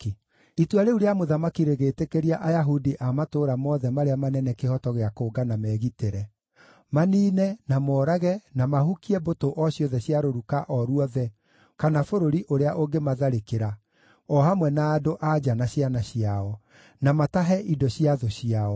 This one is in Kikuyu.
Itua rĩu rĩa mũthamaki rĩgĩtĩkĩria Ayahudi a matũũra mothe marĩa manene kĩhooto gĩa kũngana megitĩre; maniine, na moorage, na mahukie mbũtũ o ciothe cia rũruka o ruothe kana bũrũri ũrĩa ũngĩmatharĩkĩra, o hamwe na andũ-a-nja na ciana ciao; na matahe indo cia thũ ciao.